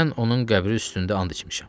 Mən onun qəbri üstündə and içmişəm.